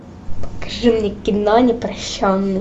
покажи мне кино непрощенный